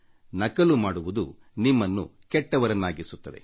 ನಕಲು ಮಾಡುವುದು ನಿಮ್ಮನ್ನು ಕೆಟ್ಟವರನ್ನಾಗಿಸುತ್ತದೆ